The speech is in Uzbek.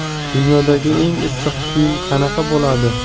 Dunyodagi eng issiq kiyim qanaqa bo‘ladi?.